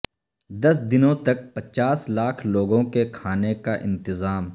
دس دنوں تک پچاس لاکھ لوگوں کے کھانے کا انتظام